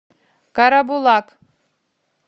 карабулак